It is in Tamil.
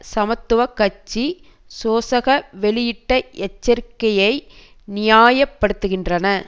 சமத்துவ கட்சி சோசக வெளியிட்ட எச்சரிக்கையை நியாயப்படுத்துகின்றன